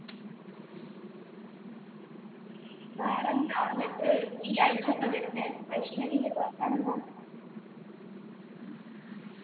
വേറെന്താ എന്നിട്ട് ഈ ആഴ്ച്ചയാണോ വരുന്നേ വൈഷ്ണവിൻ്റെ ഒക്കെ വർത്താനം എന്താ